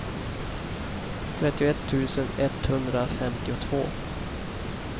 trettioett tusen etthundrafemtiotvå